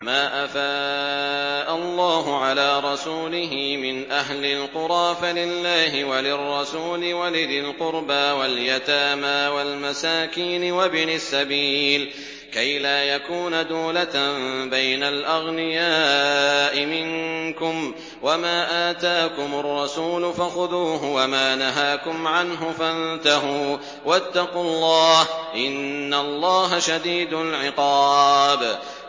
مَّا أَفَاءَ اللَّهُ عَلَىٰ رَسُولِهِ مِنْ أَهْلِ الْقُرَىٰ فَلِلَّهِ وَلِلرَّسُولِ وَلِذِي الْقُرْبَىٰ وَالْيَتَامَىٰ وَالْمَسَاكِينِ وَابْنِ السَّبِيلِ كَيْ لَا يَكُونَ دُولَةً بَيْنَ الْأَغْنِيَاءِ مِنكُمْ ۚ وَمَا آتَاكُمُ الرَّسُولُ فَخُذُوهُ وَمَا نَهَاكُمْ عَنْهُ فَانتَهُوا ۚ وَاتَّقُوا اللَّهَ ۖ إِنَّ اللَّهَ شَدِيدُ الْعِقَابِ